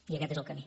i aquest és el camí